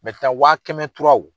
wa kɛmɛ turaw